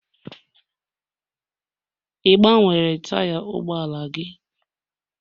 Ị gbanwere taya ụgbọala gị?